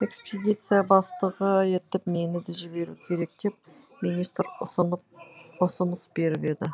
экспедиция бастығы етіп мені де жіберу керек деп министр ұсыныс беріп еді